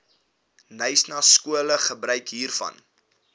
khanyaskole gebruik hiervan